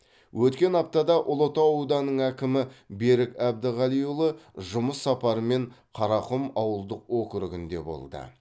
өткен аптада ұлытау ауданының әкімі берік әбдіғалиұлы жұмыс сапарымен қарақұм ауылдық округінде болды